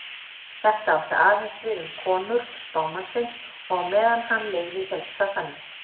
Þetta átti aðeins við um konur spámannsins og á meðan hann lifði hélst það þannig.